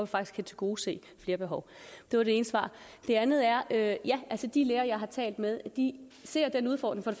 faktisk kan tilgodese flere behov det var det ene svar det andet er at ja de læger jeg har talt med ser den udfordring